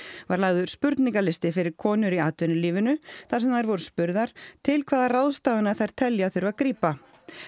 var lagður spurningalisti fyrir konur í atvinnulífinu þar sem þær voru spurðar til hvað ráðstafana þær telji að þurfi að grípa